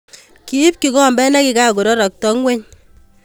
Kiip kikombet ne kikakororokto ing'weny.